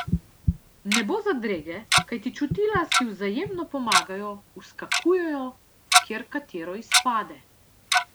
Ne bo zadrege, kajti čutila si vzajemno pomagajo, vskakujejo, kjer katero izpade.